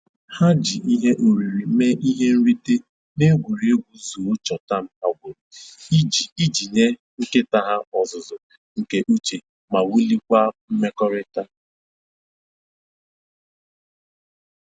Ha ji ihe oriri mee ihe nrite n'egwuregwu zoo chọtam ha gwuru iji iji nye nkịta ha ọzụzụ nke uche ma wuliekwa mmekọrịta